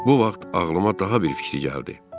Bu vaxt ağlıma daha bir fikir gəldi.